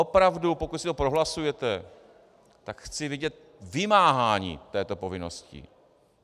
Opravdu, pokud si to prohlasujete, tak chci vidět vymáhání této povinnosti.